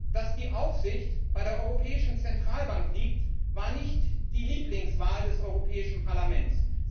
Dass die Aufsicht bei der Europäischen Zentralbank liegt, war nicht die Lieblingswahl des Europäischen Parlaments.